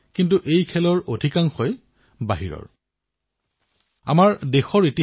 তাৰেও প্ৰায় দুই তৃতীয়াংশ টায়াৰ২ আৰু টায়াৰ৩ চহৰৰ আছিল